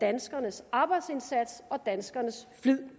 danskernes arbejdsindsats og danskernes flid